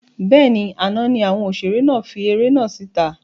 Bẹ́ẹ̀ni, àná ni àwọn òṣèré náà fi eré náà síta